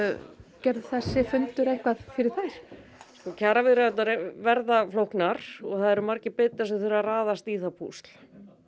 gerði þessi fundur eitthvað fyrir þær sko kjaraviðræðurnar verða flóknar og það eru margir bitar sem þurfa að raðast í það púsl